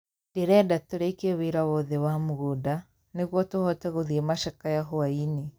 Ndĩrenda tũrĩkie wĩra wothe wa mũgũnda . Nĩguo tũhote gũthie macakaya hwainĩ.